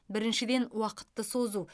біріншіден уақытты созу